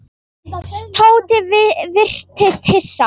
Tóti virtist hissa.